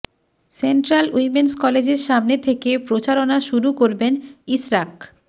central women's কলেজের সামনে থেকে প্রচারণা শুরু করবেন ইশরাক